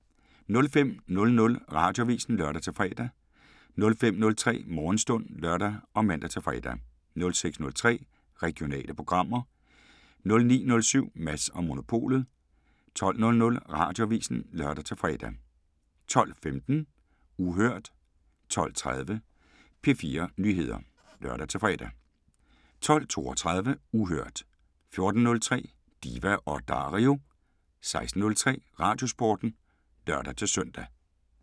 05:00: Radioavisen (lør-fre) 05:03: Morgenstund (lør og man-fre) 06:03: Regionale programmer 09:07: Mads & Monopolet 12:00: Radioavisen (lør-fre) 12:15: Uhørt 12:30: P4 Nyheder (lør-fre) 12:32: Uhørt 14:03: Diva & Dario 16:03: Radiosporten (lør-søn)